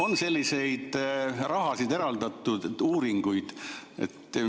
Kas selliseid rahasid on eraldatud?